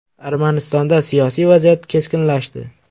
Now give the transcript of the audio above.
Armanistonda siyosiy vaziyat keskinlashdi.